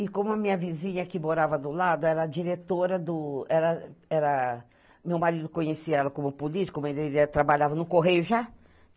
E como a minha vizinha, que morava do lado, era diretora do... Era... era, Meu marido conhecia ela como política, ele trabalhava no Correio já.